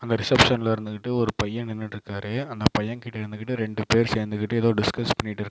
அந்த ரிசப்ஷன்ல இருந்துகிட்டு ஒரு பையன் நின்னுட்டு இருக்காரு அந்தப் பையன் கிட்ட இருந்துகிட்டு ரெண்டு பேர் சேர்ந்துகிட்டு ஏதோ டிஸ்கஸ் பண்ணிட்டு இருக்காங்க.